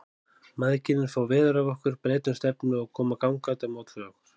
Mæðginin fá veður af okkur, breyta um stefnu og koma gangandi á móts við okkur.